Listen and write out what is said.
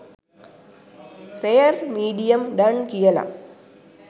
rare medium done කියල